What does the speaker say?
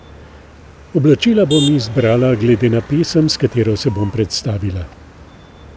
Oblačila bom izbrala glede na pesem, s katero se bom predstavila.